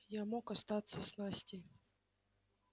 я мог остаться с настей